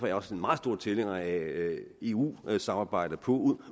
jeg også meget stor tilhænger af eu samarbejdet på